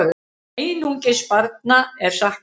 Einungis barna er saknað.